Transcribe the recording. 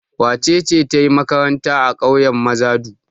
Wace ce ta yi makaranta a ƙauyen Mazadu?